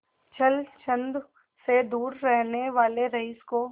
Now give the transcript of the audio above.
छल छंद से दूर रहने वाले रईस को